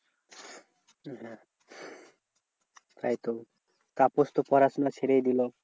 হ্যাঁ তাই তো তাপস তো পড়াশোনা ছেড়েই দিলো।